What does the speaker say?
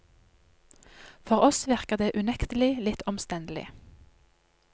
For oss virker det unektelig litt omstendelig.